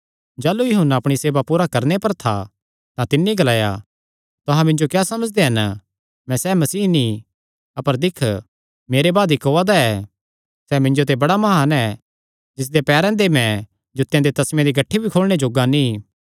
जाह़लू यूहन्ना अपणी सेवा पूरी करणे पर था तां तिन्नी ग्लाया तुहां मिन्जो क्या समझदे हन मैं सैह़ मसीह नीं अपर दिक्ख मेरे बाद इक्क ओआ दा ऐ सैह़ मिन्जो ते बड़ा म्हान ऐ जिसदेयां पैरां दे मैं जूत्तेयां दे तस्मेआं दियां गठ्ठी भी मैं खोलणे जोग्गा नीं